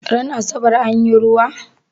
Ran asabar anyi ruwa?